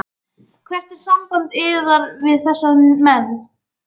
Hvert er samband yðar við þessa menn?